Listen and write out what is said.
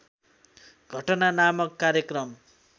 घटना नामक कार्यक्रम